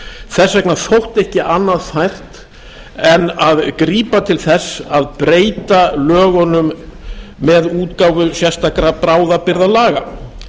þess vegna þótti ekki annað fært en grípa til þess að breyta með lögunum með útgáfu sérstakra bráðabirgðalaga